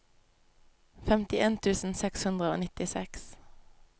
femtien tusen seks hundre og nittiseks